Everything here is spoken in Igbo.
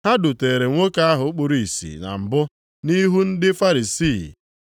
Ha dutere nwoke ahụ kpuru ìsì na mbụ nʼihu ndị Farisii.